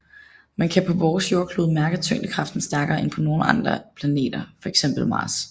Man kan på vores jordklode mærke tyngdekraften stærkere end på nogle andre planeter fx Mars